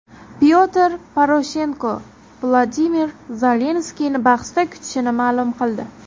Pyotr Poroshenko Vladimir Zelenskiyni bahsda kutishini ma’lum qildi.